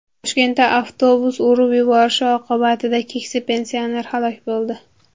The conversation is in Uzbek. Toshkentda avtobus urib yuborishi oqibatida keksa pensioner halok bo‘ldi.